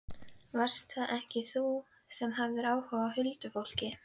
Varst það ekki þú sem hafðir áhuga á huldufólki?